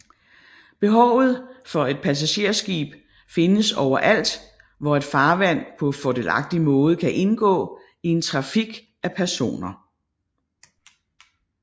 Behovet for et passagerskib findes overalt hvor et farvand på fordelagtig måde kan indgå i en trafik af personer